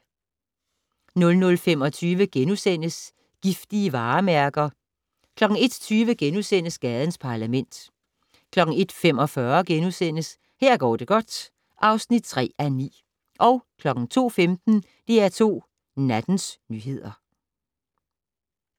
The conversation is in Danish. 00:25: Giftige varemærker * 01:20: Gadens Parlament * 01:45: Her går det godt (3:9)* 02:15: DR2 Nattens nyheder